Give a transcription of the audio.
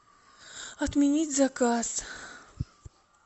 отменить заказ